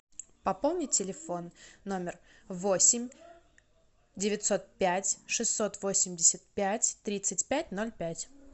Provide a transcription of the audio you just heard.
пополни телефон номер восемь девятьсот пять шестьсот восемьдесят пять тридцать пять ноль пять